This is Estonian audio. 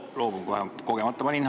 Ma loobun kohe, kogemata panin.